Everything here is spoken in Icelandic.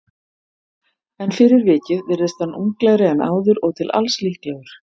En fyrir vikið virðist hann unglegri en áður og til alls líklegur.